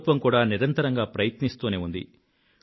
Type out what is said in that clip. ప్రభుత్వం కూడా నిరంతరంగా ప్రయత్నిస్తూనే ఉంది